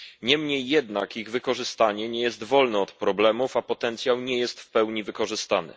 Niemniej jednak ich wykorzystanie nie jest wolne od problemów, a potencjał nie jest w pełni wykorzystany.